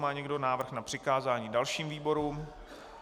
Má někdo návrh na přikázání dalším výborům?